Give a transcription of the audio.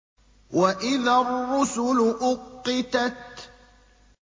وَإِذَا الرُّسُلُ أُقِّتَتْ